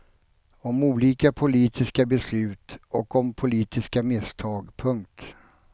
Om olika politiska beslut och om politiska misstag. punkt